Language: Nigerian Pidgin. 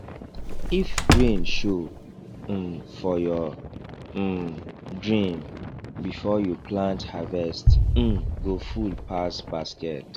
if rain show um for your um dream before you plant harvest um go full pass basket